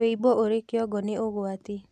Wũimbo ũri kĩongo nĩ ũgwati